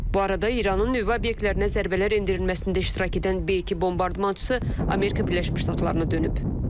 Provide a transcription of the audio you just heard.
Bu arada İranın nüvə obyektlərinə zərbələr endirilməsində iştirak edən B-2 bombardmançısı Amerika Birləşmiş Ştatlarına dönüb.